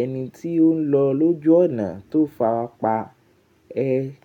ẹni tí ó ń lọ lójú ọ̀nà tó fàpa ẹ.